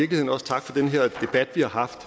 har haft